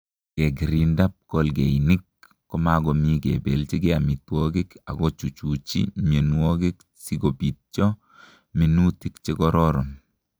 Ngekirinda pkolgeinik komakomii kebeljigei amitwokik akochuchuchi mionwokik sikobitcho minutik chekororon